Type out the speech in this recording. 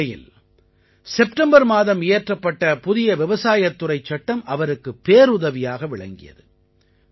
இந்த நிலையில் செப்டெம்பர் மாதம் இயற்றப்பட்ட புதிய விவசாயத் துறைச் சட்டம் அவருக்குப் பேருதவியாக விளங்கியது